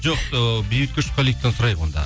жоқ ы бейбіт көшқаливтен сұрайық онда